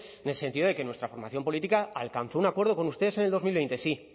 en el sentido de que nuestra formación política alcanzó un acuerdo con ustedes en el dos mil veinte sí